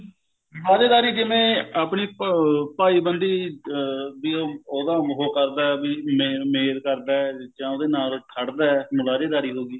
ਮੁਲਾਜੇਦਾਰੀ ਜਿਵੇਂ ਆਪਣੀ ਅਹ ਭਾਈ ਬੰਦੀ ਅਹ ਵੀ ਉਹ ਉਹਦਾ ਉਹ ਕਰਦਾ ਵੀ main ਮੇਲ ਕਰਦਾ ਜਾਂ ਉਹਦੇ ਨਾਲ ਖੜਦਾ ਮੁਲਾਜੇਦਾਰੀ ਹੋਗੀ